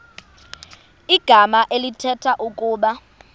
igama elithetha ukuba